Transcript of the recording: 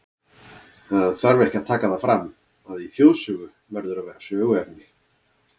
Það þarf ekki að taka það fram, að í þjóðsögu verður að vera söguefni.